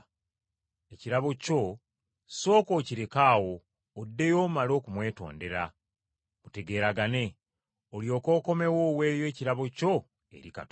ekirabo kyo sooka okireke awo oddeyo omale okumwetondera mutegeeragane, olyoke okomewo oweeyo ekirabo kyo eri Katonda.